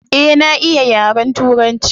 Eh na iya yaren turanci.